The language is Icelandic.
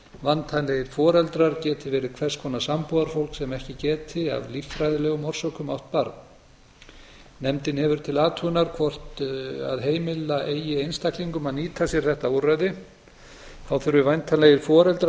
væntanlegir foreldrar geti verið hvers konar sambúðarfólk sem ekki geti af líffræðilegum orsökum átt barn nefndin hefur til athugunar hvort heimila eigi einstaklingum að nýta sér þetta úrræði þá þurfi væntanlegir foreldrar